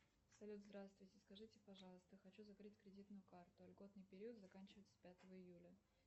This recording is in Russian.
салют здравствуйте скажите пожалуйста хочу закрыть кредитную карту льготный период заканчивается пятого июля